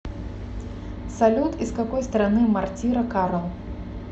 салют из какой страны мортира карл